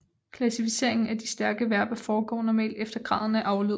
Klassificeringen af de stærke verber foregår normalt efter graden af aflyd